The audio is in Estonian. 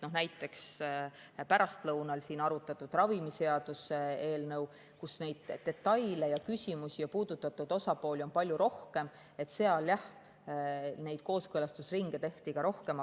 Näiteks pärastlõunal siin arutatud ravimiseaduse eelnõu puhul, kus neid detaile ja küsimusi ja puudutatud osapooli on palju rohkem, tehti ka neid kooskõlastusringe rohkem.